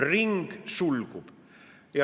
Ring sulgub.